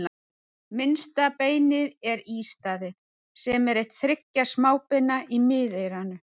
Minnsta beinið er ístaðið, sem er eitt þriggja smábeina í miðeyranu.